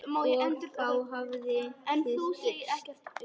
Og þá hafið þið gifst?